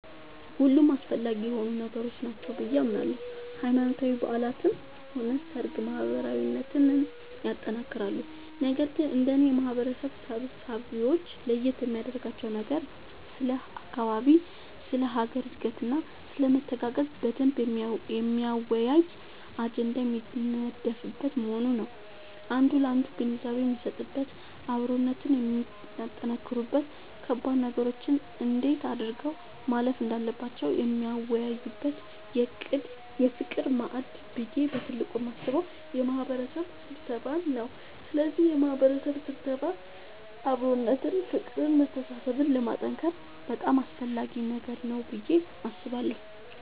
ሁሉም አስፈላጊ የሆኑ ነገሮች ናቸው ብዬ አምናለሁ ሃይማኖታዊ በዓላትም ሆነ ሰርግ ማህበራዊነትን ያጠነክራሉ ነገር ግን እንደኔ የማህበረሰብ ስብሰባወች ለየት የሚያደርጋቸው ነገር ስለ አካባቢ ስለ ሀገር እድገትና ስለመተጋገዝ በደንብ የሚያወያይ አጀንዳ የሚነደፍበት መሆኑ ነዉ አንዱ ላንዱ ግንዛቤ የሚሰጥበት አብሮነትን የሚያጠነክሩበት ከባድ ነገሮችን እንዴት አድርገው ማለፍ እንዳለባቸው የሚወያዩበት የፍቅር ማዕድ ብዬ በትልቁ የማስበው የማህበረሰብ ስብሰባን ነዉ ስለዚህ የማህበረሰብ ስብሰባ አብሮነትን ፍቅርን መተሳሰብን ለማጠንከር በጣም አስፈላጊ ነገር ነዉ ብዬ አስባለሁ።